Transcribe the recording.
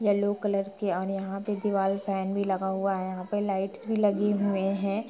Yellow colour के और यहाँ पे दीवार फेन भी लगा हुआ है यहाँ पे लाइट्स भी लगे हुए हैं।